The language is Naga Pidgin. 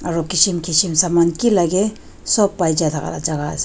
aro kishim kishim saman kilakae sop paija laka jaka ase.